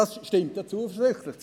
Dies stimmt zuversichtlich.